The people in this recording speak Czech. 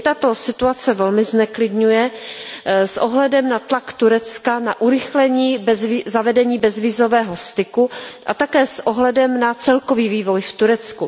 Mě tato situace velmi zneklidňuje s ohledem na tlak Turecka na urychlení zavedení bezvízového styku a také s ohledem na celkový vývoj v Turecku.